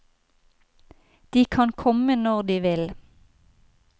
De kan komme når de vil.